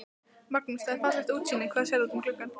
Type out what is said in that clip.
Magnús: Það er fallegt útsýni, hvað sérðu út um gluggana?